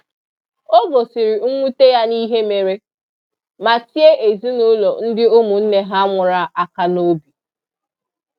O gosiri nwute ya n'ihe mere, ma tie ezinụlọ ndị ụmụnne ha nwụrụ aka n'obi.